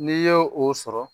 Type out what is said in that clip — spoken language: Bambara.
N'i ye o sɔrɔ